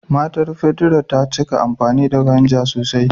Matan Pedro ta cika amfani da "vinegar " sosai.